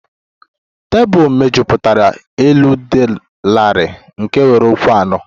Tebụl mejupụtara elu dị larịị nke nwere ụkwụ anọ